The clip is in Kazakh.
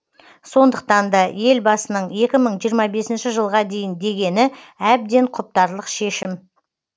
сондықтан да елбасының екі мың жиырма бесінші жылға дейін дегені әбден құптарлық шешім